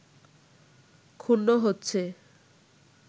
ক্ষুণ্ণ হচ্ছে